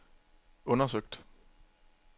undersøgt